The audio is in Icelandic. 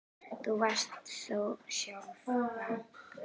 Þú varst þú sjálf.